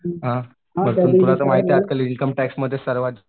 हां तुला तर माहिती आहे आजकाल इन्कम टॅक्स मध्ये सर्वात